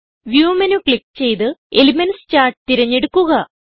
view menu click ചെയ്ത് elements charts തിരഞ്ഞെടുക്കുക